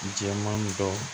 Jɛman dɔ